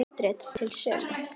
Handrit til sölu.